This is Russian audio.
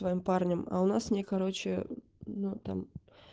твоим парнем а у нас мне короче ну там